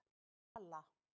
Bala